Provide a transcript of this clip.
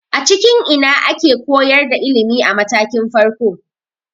A cikin ina ake koyar da ilimi a matakin farko?